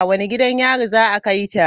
Wane gidan yari za a kai ta?